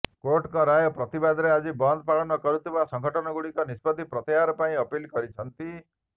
କୋର୍ଟଙ୍କ ରାୟ ପ୍ରତିବାଦରେ ଆଜି ବନ୍ଦ ପାଳନ କରୁଥିବା ସଂଗଠନଗୁଡିକୁ ନିଷ୍ପତ୍ତି ପ୍ରତ୍ୟାହାର ପାଇଁ ଅପିଲ କରିଛନ୍ତି